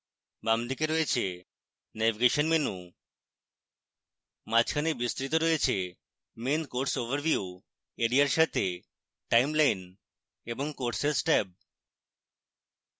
বাম দিকে রয়েছে navigation menu মাঝখানে বিস্তৃত রয়েছে main course overview এরিয়ার সাথে timeline এবং courses ট্যাব